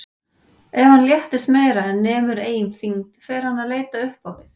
Ef hann léttist meira en nemur eigin þyngd fer hann að leita upp á við.